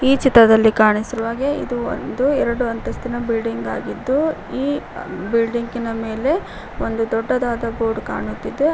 ಈ ಚಿತ್ರದಲ್ಲಿ ಕಾಣಿಸಿರುವಂತೆ ಹಾಗೆ ಇದು ಒಂದು ಎರಡು ಅಂತಸ್ತಿನ ಬಿಲ್ಡಿಂಗ್ ಆಗಿದ್ದು ಈ ಬಿಲ್ಡಿಂಗಿ ನ ಮೇಲೆ ಒಂದು ದೊಡ್ಡದಾದ ಬೋರ್ಡ್ ಕಾಣುತ್ತಿದೆ.